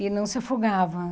E não se afogava.